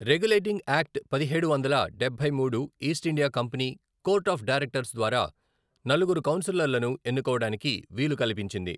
Regulating act పదిహేడు వందల డబ్బై మూడు East India company court of directors ద్వారా నలుగురు కౌన్సిలర్లను ఎన్నుకోవడానికి వీలు కల్పించింది.